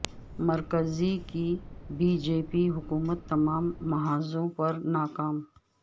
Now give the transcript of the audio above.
مرکزی کی B J P حکومت تمام محاذوں پر ناکام